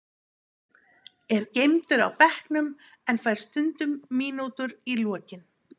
Er geymdur á bekknum en fær stundum mínútur í lokin.